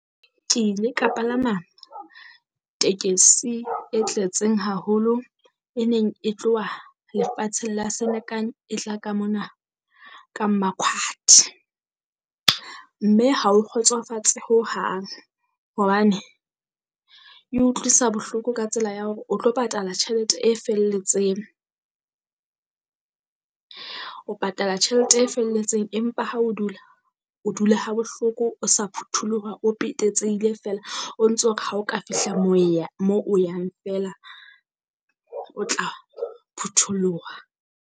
Ke ile ka palama tekesi e tletseng haholo e neng e tloha lefatsheng la Senekan, e tla ka mona ka Mmakhwathe. Mme ha o kgotsofatse hohang hobane e utlwisa bohloko ka tsela ya hore o tlo patala tjhelete e felletseng. O patala tjhelete e felletseng empa ha o dula o dula ha bohloko o sa phutholoha, o petetsehile feela o ntso o re ha o ka fihla moo ya moo o yang feela, o tla phutholoha.